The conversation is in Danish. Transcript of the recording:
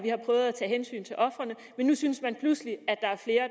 tage hensyn til ofrene men nu synes man pludselig